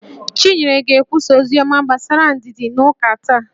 Chinyere ga-ekwusa oziọma gbasara ndidi n'ụka taa